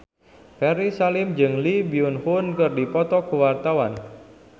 Ferry Salim jeung Lee Byung Hun keur dipoto ku wartawan